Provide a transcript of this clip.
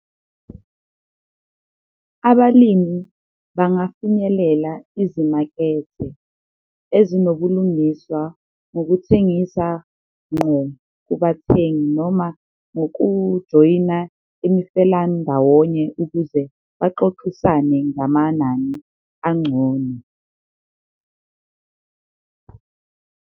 Abalimi bangafinyelela ezimakethe ezinobulungiswa ngokuthengisa nqo kubathengi noma ngokujoyina imifelandawonye ukuze baxoxisane ngamanani ancono.